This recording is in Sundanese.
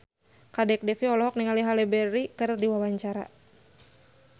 Kadek Devi olohok ningali Halle Berry keur diwawancara